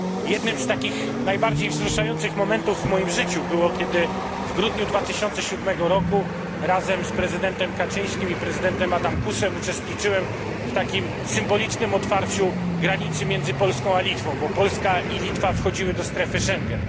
Jednym z takich najbardziej wzruszających momentów w moim życiu był moment, kiedy w grudniu 2007 roku razem z prezydentem Kaczyńskim i prezydentem Adamkusem uczestniczyłem w symbolicznym otwarciu granicy między Polską a Litwą, bo Polska i Litwa wchodziły do strefy Schengen.